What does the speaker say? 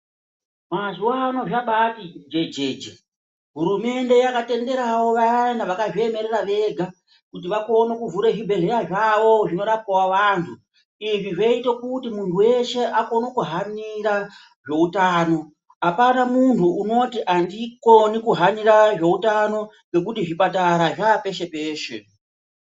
Mazuva ano zvabaati jejeje hurumende yakatenderawo vayani vakazviemera vega kuti vakone kuvhura zvibhedhlera zvovo zvino kurapewo vantu izvi zvinoita kuti muntu weshe akone kuhanira zveutano hakuna muntu unoti handikoni kuhanira zveutano ngekuti zvipatara zvava peshe peshe.